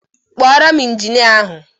Kpọọrọ m Injinia ahụ